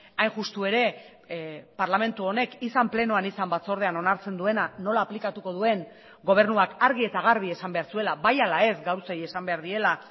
hain justu ere parlamentu honek izan plenoan izan batzordean onartzen duena nola aplikatuko duen gobernuak argi eta garbi esan behar zuela bai ala ez gauzei esan behar diela